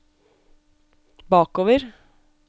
bakover